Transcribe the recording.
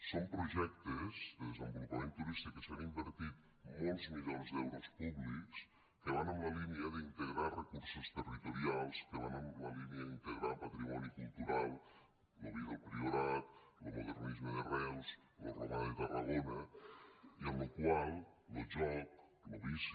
són projectes de desenvolupament turístic en què s’han invertit molts milions d’euros públics que van en la línia d’integrar recursos territorials que van en la línia d’integrar patrimoni cultural lo vi del priorat lo modernisme de reus lo romà de tarragona i en lo qual lo joc lo vici